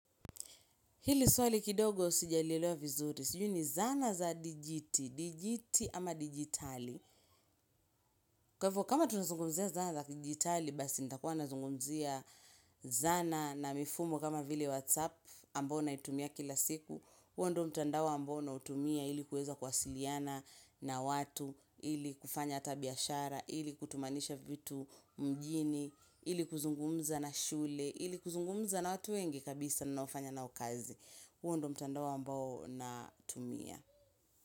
Hili swali kidogo sijalilelewa vizuri, sijui ni zana za dijiti, dijiti ama dijitali. Kwa hivyo, kama tunazungumzia zana za dijitali, basi nitakuwa nazungumzia zana na mifumo kama vile WhatsApp ambao naitumia kila siku. Huo ndo mtandao ambayo nautumia ili kuweza kwasiliana na watu, ili kufanya ata biashara, ili kutumanisha vitu mjini, ili kuzungumza na shule, ili kuzungumza na watu wengi kabisa naofanya na wao kazi. Huo ndo mtandao ambao na tumia.